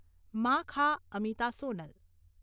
મા.ખા. Amita, Sonal